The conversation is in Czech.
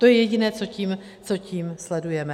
To je jediné, co tím sledujeme.